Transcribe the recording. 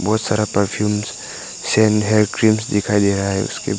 बहुत सारा perfume cream दिखाई दे रहा है उसके बाद--